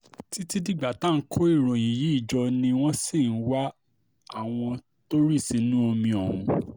títí dìgbà tá à ń kó ìròyìn yìí jọ ni wọ́n ṣì ń wá àwọn tó rì sínú omi ọ̀hún